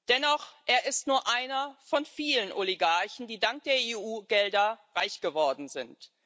Dennoch Er ist nur einer von vielen Oligarchen, die dank der EU Gelder reich geworden sind.